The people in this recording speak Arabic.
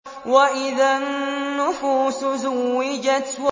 وَإِذَا النُّفُوسُ زُوِّجَتْ